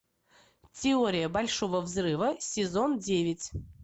теория большого взрыва сезон девять